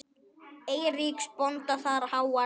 Eiríks bónda þar háan sess.